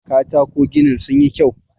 katako ginin sun yi kyau